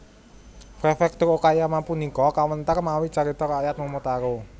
Prefektur Okayama punika kawéntar mawi carita rakyat Momotaro